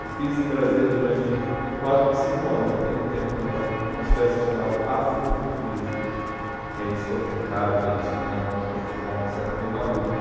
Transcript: Eu fiz em Brasília durante quatro, cinco anos, já tem um tempo que eu não faço, umas festas chamadas Afrofuturismo, que aí discotecava e tinha um performance, era bem maluco.